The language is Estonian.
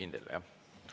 Kindel, jah?